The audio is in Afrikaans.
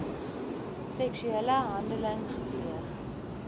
seksuele handeling gepleeg